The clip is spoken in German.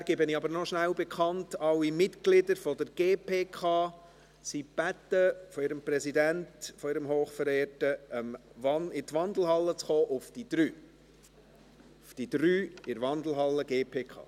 Vorher gebe ich aber noch bekannt, dass alle Mitglieder der GPK von ihrem hochverehrten Präsidenten gebeten werden, um 15 Uhr in die Wandelhalle zu kommen.